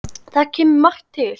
Þar kemur margt til.